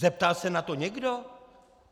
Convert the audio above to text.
Zeptal se na to někdo?